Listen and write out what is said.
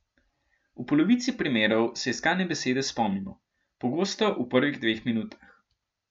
V polovici primerov se iskane besede spomnimo, pogosto v prvih dveh minutah.